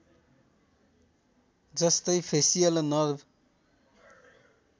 जस्तै facial nerve